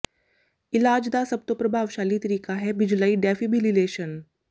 ਇਲਾਜ ਦਾ ਸਭ ਤੋਂ ਪ੍ਰਭਾਵਸ਼ਾਲੀ ਤਰੀਕਾ ਹੈ ਬਿਜਲਈ ਡੈਫੀਬਿਲਿਲੇਸ਼ਨ